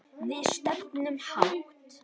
Við stefnum hátt.